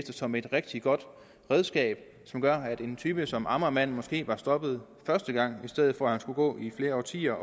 som et rigtig godt redskab som gør at en type som amagermanden måske var blevet stoppet første gang i stedet for at han skulle gå i flere årtier